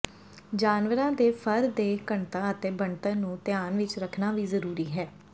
ਜਾਨਵਰਾਂ ਦੇ ਫਰ ਦੇ ਘਣਤਾ ਅਤੇ ਬਣਤਰ ਨੂੰ ਧਿਆਨ ਵਿਚ ਰੱਖਣਾ ਵੀ ਜ਼ਰੂਰੀ ਹੈ